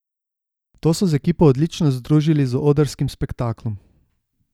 To so z ekipo odlično združili z odrskim spektaklom.